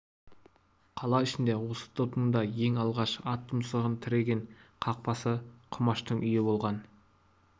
қала ішінде осы топтың да ең алғаш ат тұмсығын тіреген қақпасы құмаштың үйі болған